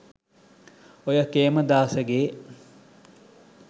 ඔය කේමදාසගේ